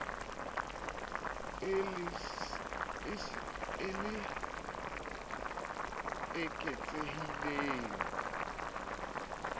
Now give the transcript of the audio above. le eketsehileng ka dintl ha